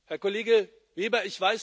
Herr Kollege Weber!